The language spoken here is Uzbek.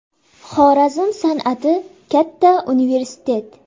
Xorazm san’ati katta universitet.